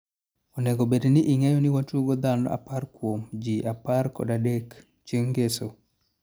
onego bedni ingeyo ni watugo dhano apar kuom ji apar kod adek(chieng ngeso)